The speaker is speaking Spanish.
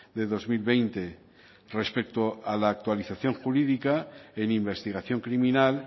de dos mil veinte respecto a la actualización jurídica en investigación criminal